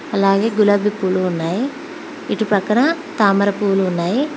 అలాగే గులాబి పూలు ఉన్నాయి ఇటు పక్కన తామర పువ్వులు ఉన్నాయి.